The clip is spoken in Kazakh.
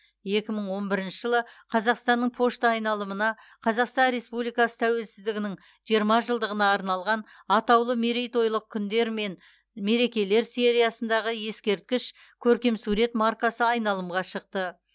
екі мың он бірінші жылы қазақстанның пошта айналымына қазақстан республикасы тәуелсіздігінің жиырма жылдығына арналған атаулы мерейтойлық күндер мен мерекелер сериясындағы ескерткіш көркемсурет маркасы айналымға шықты